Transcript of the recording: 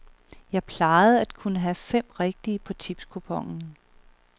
Jeg plejede kun at have fem rigtige på tipskuponen.